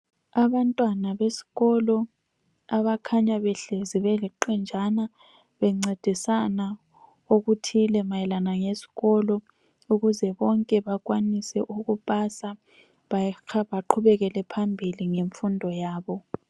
Abantwana besikolo abakhanya behlezi beliqenjana bencedisana okuthile mayelana ngesikolo ukuze bonke bekwanise ukupasa baqhubekele phambili ngemfundo yabo.